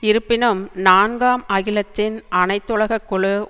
இருப்பினும் நான்காம் அகிலத்தின் அனைத்துலக குழு